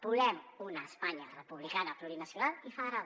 volem una espanya republicana plurinacional i federal